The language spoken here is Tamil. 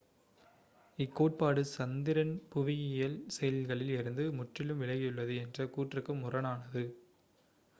இக்கோட்பாடு சந்திரன் புவியியல் செயல்களில் இருந்து முற்றிலும் விலகியுள்ளது என்ற கூற்றுக்குக் முரணானது